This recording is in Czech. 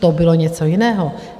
To bylo něco jiného.